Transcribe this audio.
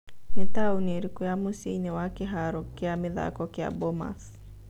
nĩ taũni ĩrĩkũ ya mũcĩi-inĩ wa kĩharo kĩa mĩthako kĩa bomas